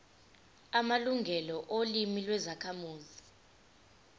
amalungelo olimi lwezakhamuzi